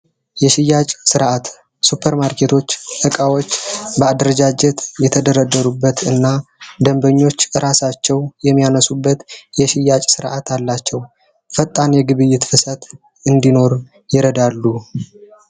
የሽያጭ ሥርዓት ሱፐርማርኬቶች ዕቃዎች በአደረጃጀት የተደረደሩበት እና ደንበኞች እራሳቸው የሚያነሱበት የሽያጭ ሥርዓት አላቸው። ፈጣን የግብይት ፍሰት እንዲኖር ይረዳሉ።